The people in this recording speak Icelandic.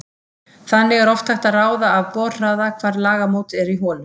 Þannig er oft hægt að ráða af borhraða hvar lagamót eru í holu.